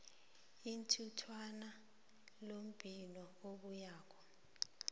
ithintwano lombiko obuyako